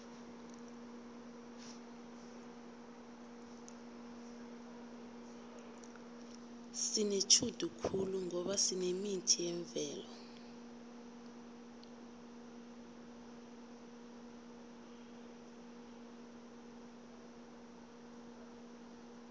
sinetjhudu khulu ngoba sinemithi yemvelo